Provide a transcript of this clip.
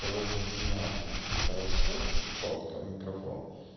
довольно внятно и хорошо и чётко в микрофон